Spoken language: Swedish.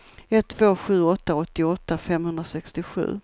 ett två sju åtta åttioåtta femhundrasextiosju